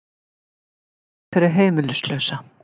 Hvað gerir það fyrir heimilislausa?